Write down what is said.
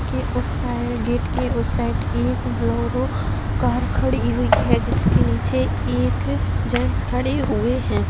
के उस side gate के उस साइड एक ब्‍लोरो कार खड़ी हुई है जिसके नीचे एक जेन्ट्स खड़े हुए हैं।